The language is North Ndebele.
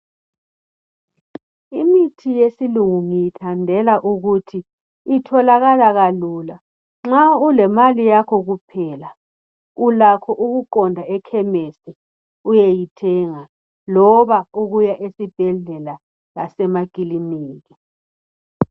Imithi yesilungu ngiyathandela ukuthi itholakala kalula, nxa ulemali yakho kuphela ulakho ukuqonda ekhemisi uyeyithenga loba ukuyasibhedlela lasemakilinika.